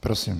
Prosím.